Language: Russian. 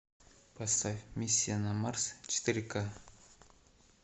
поставь миссия на марс четыре ка